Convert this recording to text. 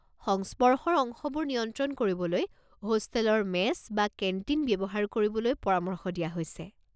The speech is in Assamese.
সংস্পৰ্শৰ অংশবোৰ নিয়ন্ত্ৰণ কৰিবলৈ হোষ্টেলৰ মেছ বা কেণ্টিন ব্যৱহাৰ কৰিবলৈ পৰামৰ্শ দিয়া হৈছে।